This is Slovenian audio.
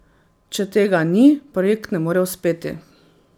Če tega ni, projekt ne more uspeti.